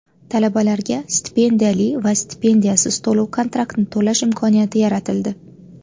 Talabalarga stipendiyali va stipendiyasiz to‘lov-kontraktni to‘lash imkoniyati yaratildi .